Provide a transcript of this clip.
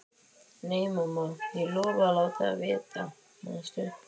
Nei, mamma, ég lofaði að láta þig vita, manstu?